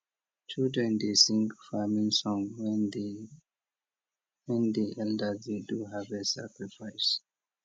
children dey sing farming song when di when di elders dey do harvest sacrifice